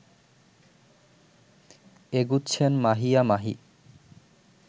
এগুচ্ছেন Mahiya Mahi